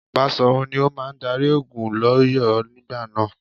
Baṣòrun ni ó máa darí ogun lỌ́yọ̀ọ́ nígbà náà.